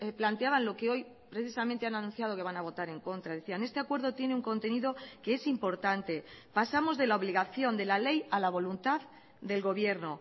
planteaban lo que hoy precisamente han anunciado que van a votar en contra decían este acuerdo tiene un contenido que es importante pasamos de la obligación de la ley a la voluntad del gobierno